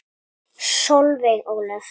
Solveig Ólöf.